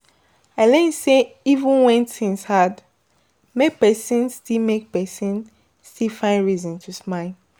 I learn sey even wen tins hard, make pesin still make pesin still find reason to smile